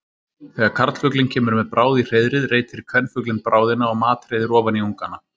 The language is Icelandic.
Þegar karlfuglinn kemur með bráð í hreiðrið reitir kvenfuglinn bráðina og matreiðir ofan í ungana.